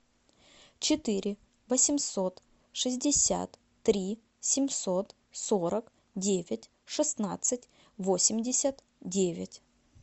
четыре восемьсот шестьдесят три семьсот сорок девять шестнадцать восемьдесят девять